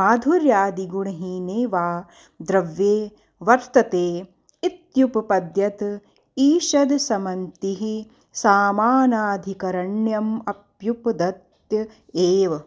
माधुर्यादिगुणहीने वा द्रव्ये वत्र्तते इत्युपपद्यत ईषदसमान्तिः सामानाधिकरण्यमप्युपद्यत एव